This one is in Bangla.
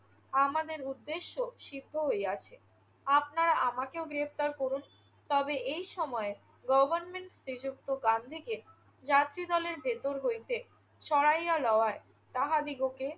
আমাদের উদ্দেশ্য সিদ্ধ হইয়াছে। আপনারা আমাকেও গ্রেফতার করুন। তবে এই সময় গভর্নমেন্ট শ্রীযুক্ত গান্ধীকে যাত্রীদলের ভিতর হইতে সরাইয়া লওয়ায় তাহাদিগকে